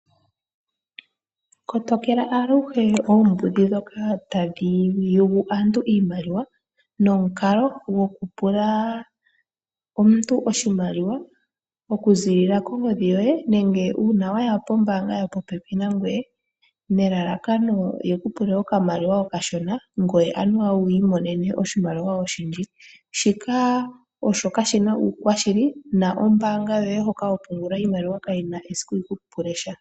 Kotokela aluhe oombudhi dhoka tadhi yugu aantu iimaliwa, nomukalo gwokupula omuntu oshimaliwa, okuzilila kongodhi yoye nenge uuna waya pombaanga yopopepi nangoye, nelalakano yekupule okamaliwa okashona, ngoye anuwa wi imonene oshimaliwa oshindji. Shika kashina uushili, na ombaanga yoye hoka hopungula iimaliwa yoye kayena esiku yekupule uuyelele mboka.